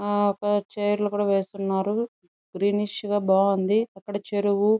చీరలు కూడా నేస్తున్నారు గ్రీనిష్ గ ఉంది బాగున్నాయి అక్కడ చెరువు --